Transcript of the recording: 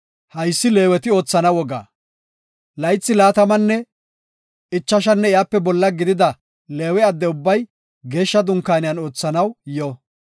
“Haysi Leeweti oothana wogaa; laythi laatamanne ichashanne iyape bolla gidida Leewe adde ubbay Geeshsha Dunkaaniyan oothanaw yo.